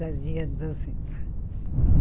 Fazia doce.